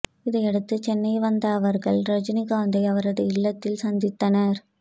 இதையடுத்து சென்னை வந்த அவர்கள் ரஜினிகாந்தை அவரது இல்லத்தில் சந்தித்தனர்